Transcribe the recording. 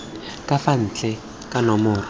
ka fa ntle ka nomoro